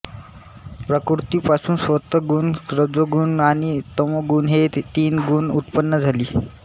प्रकृतीपासून सत्त्वगुण रजोगुण आणि तमोगुण हे तीन गुण उत्पन्न झाली